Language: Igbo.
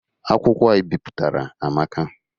Akwụkwọ a ị bipụtara amaka.